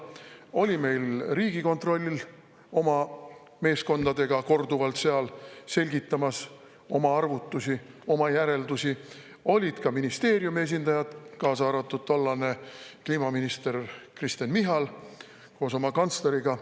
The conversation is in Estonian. Oli meil Riigikontroll oma meeskondadega korduvalt seal selgitamas oma arvutusi, oma järeldusi, olid ka ministeeriumi esindajad, kaasa arvatud tollane kliimaminister Kristen Michal koos oma kantsleriga.